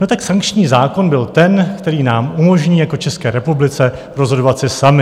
No tak sankční zákon byl ten, který nám umožní jako České republice rozhodovat si sami.